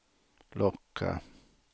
locka